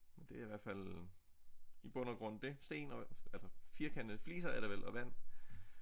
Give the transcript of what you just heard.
Men det er i hvert fald i bund og grund det sten og altså firkantede fliser er det vel og vand